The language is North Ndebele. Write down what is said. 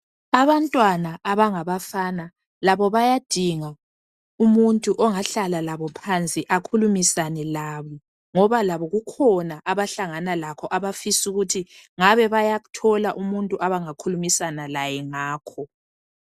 Abantwana abangabafana labo bayadinga umuntu ongahlala labo phansi akhulumisane labo ngoba labo kukhona abahlangana lakho abafisa ukuthi ngabe bayathola umuntu abangakhulumisana laye ngakho